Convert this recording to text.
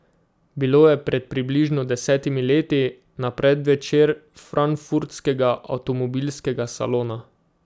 Bilo je pred približno desetimi leti, na predvečer frankfurtskega avtomobilskega salona.